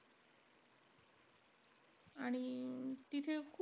आणि तिथं,